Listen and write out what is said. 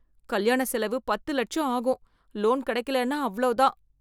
கல்யாண செலவு பத்து இலட்சம் ஆகும். லோன் கிடைக்கலேன்னா அவ்ளோ தான்.